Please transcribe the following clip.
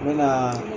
N bɛ na